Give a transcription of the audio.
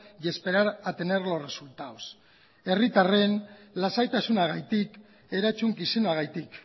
y esperar a tener los resultados herritarren lasaitasunagatik erantzukizunagatik